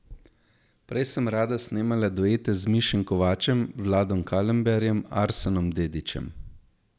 Prej sem rada snemala duete z Mišem Kovačem, Vladom Kalemberjem, Arsenom Dedićem.